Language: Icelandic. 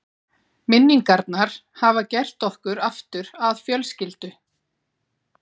Minningarnar hafa gert okkur aftur að fjölskyldu.